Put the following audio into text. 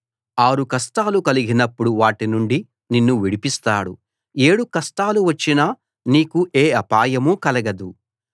ఆరు కష్టాలు కలిగినప్పుడు వాటి నుండి నిన్ను విడిపిస్తాడు ఏడు కష్టాలు వచ్చినా నీకు ఏ అపాయం కలుగదు